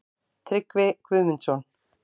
Tryggvi Guðmundsson.